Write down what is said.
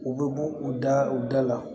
U bɛ bɔ u da u da la